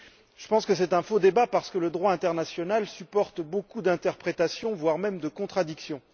Je pense que c'est un faux débat, parce que le droit international supporte beaucoup d'interprétations, voire de contradictions.